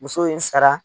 Muso ye n sara